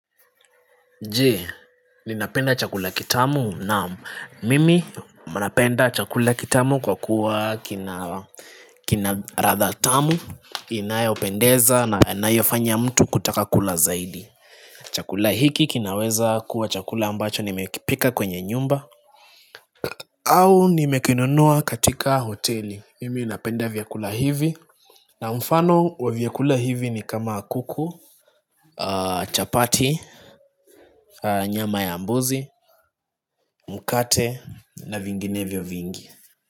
Je, ninapenda chakula kitamu? Naam. Mimi napenda chakula kitamu kwa kuwa kina kina ladha tamu, inayopendeza na inayofanya mtu kutaka kula zaidi Chakula hiki kinaweza kuwa chakula ambacho nimekipika kwenye nyumba au nimekinunua katika hoteli, mimi napenda vyakula hivi na mfano wa vyakula hivi ni kama kuku, chapati, nyama ya mbuzi Mkate na vinginevyo vingi.